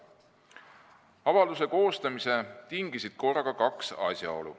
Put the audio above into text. Avalduse koostamise tingisid korraga kaks asjaolu.